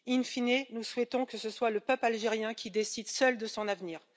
In fine, nous souhaitons que ce soit le peuple algérien qui décide seul de son avenir.